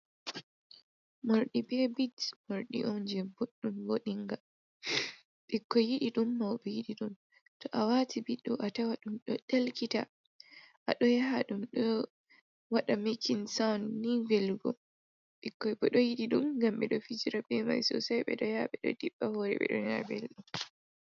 Mordi ɓe bit morɗi onjin boɗɗum voɗinga ikkoi yidi ɗum ,maube yidi ɗum ,to a wati biɗɗo a tawa ɗum ɗo ɗelkita a ɗo yaha ɗum ɗo waɗa makin sound ni velgom ɓɗo yiɗi ɗum gam be ɗo fijira be mai sosai be ɗo yabe ɗo diɓɓa hore ɓe ɗo ya belɗum.